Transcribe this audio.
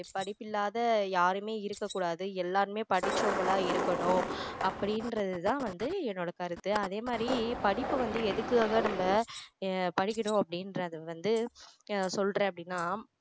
படிப்பில்லாத யாருமே இருக்க கூடாது எல்லாருமே படிச்சவங்களா இருக்கணும் அப்படின்றது தான் வந்து என்னோட கருத்து அதே மாதிரி படிப்ப வந்து எதுக்காக நம்ம ஆஹ் படிக்கணும் அப்படின்றது வந்து ஆஹ் சொல்றேன் அப்படின்னா